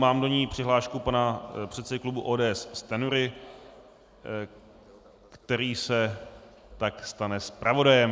Mám do ní přihlášku pana předsedy klubu ODS Stanjury, který se tak stane zpravodajem.